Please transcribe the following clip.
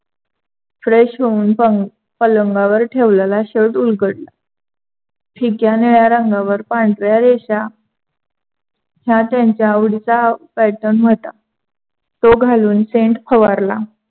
fresh होऊन पलंगावर ठेवलेला shirt उलघडला. फिक्या निळ्या रंगावर पांढऱ्या रेषा हा त्यांचा आवडीचा pattern होता. तो घालून सेंट फवारला.